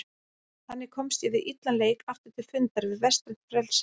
Þannig komst ég við illan leik aftur til fundar við vestrænt frelsi.